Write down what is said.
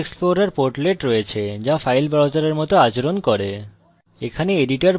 এখানে package explorer portlet রয়েছে যা file browser মত আচরণ করে